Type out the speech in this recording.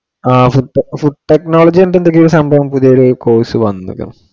അഹ് food technology എന്തൊക്കെയോ സംഭവം പുതിയത് course വന്നുല്ലോ